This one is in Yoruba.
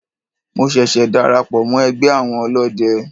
Mo ṣẹ̀ṣẹ̀ darapọ̀ mọ́ ẹgbẹ́ àwọn ọlọ́de.